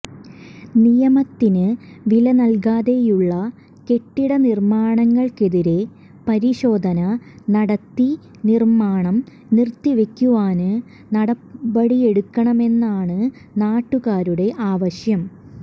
നിയമത്തിന് വിലനല്കാതെയുള്ള കെട്ടിട നിര്മാണങ്ങള്ക്കെതിരേ പരിശോധന നടത്തി നിര്മാണം നിര്ത്തിവെയ്ക്കുവാന് നടപടിയെടുക്കണമെന്നാണ് നാട്ടുകാരുടെ ആവശ്യം